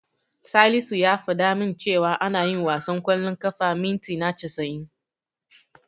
Salisu ya fada min cewa ana yin wasan ƙwallon ƙafa mintina casa'in.